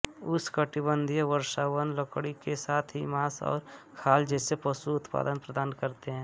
उष्णकटिबंधीय वर्षावन लकड़ी के साथ ही मांस और खाल जैसे पशु उत्पाद प्रदान करते हैं